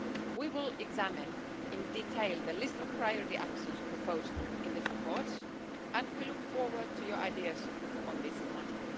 We will examine in detail the list of priority actions proposed in this report and we look forward to your ideas on this matter.